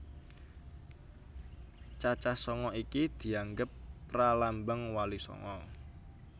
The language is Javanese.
Cacah sanga iki dianggep pralambang Wali Sanga